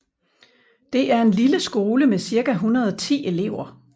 Det er en lille skole med cirka 110 elever